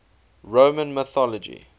roman mythology